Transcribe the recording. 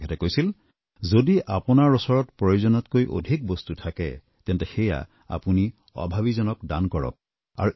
তেখেতে কৈছিল যদি আপোনাৰ ওচৰত প্ৰয়োজনতকৈ অধিক বস্তু থাকে তেন্তে সেয়া আপুনি অভাৱীজনক দান কৰক